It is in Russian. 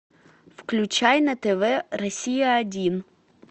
включай на тв россия один